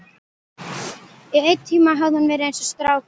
Í einn tíma hafði hún verið eins og strákur.